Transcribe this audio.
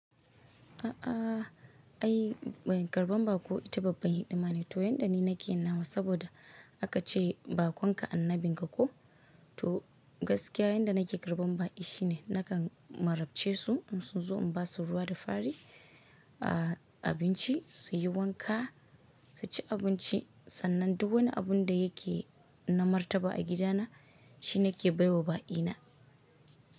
A'a ai mai karɓan bako ita babban hidima ne, to yanda ni nake nawa saboda aka ce baƙon ka annabin ka ko to gaskiya yanda nake karɓan bako shine nakan marabce su in su zo in ba su ruwa da fari, a abinci su yi wanka su ci abinci. Sannan duk wani abun da yake na martaba a gidana shine ke bai wa ba'i na.